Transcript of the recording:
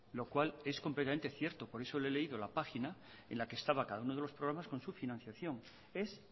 lo cual es completamente cierto por eso le he leído la página en la que estaba cada uno de los programas con su financiación es